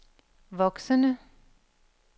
voksende